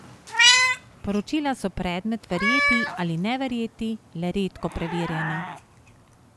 Poročila so predmet verjeti ali ne verjeti, le redko preverjena.